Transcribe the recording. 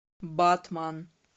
батман